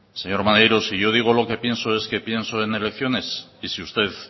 señor maneiro si yo digo lo que pienso es que pienso en elecciones y si usted